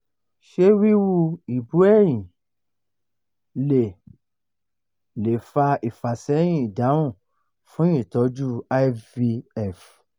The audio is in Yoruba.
se wiwu ibú-ẹyin le le fa ifaseyin idahun fun itoju ivf